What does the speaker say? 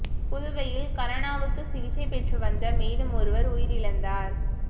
புதுவையில் கரோனாவுக்கு சிகிச்சை பெற்று வந்த மேலும் ஒருவா் உயிரிழந்தாா்